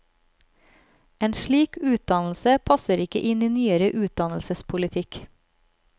En slik utdannelse passer ikke inn i nyere utdannelsespolitikk.